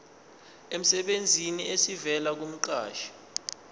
emsebenzini esivela kumqashi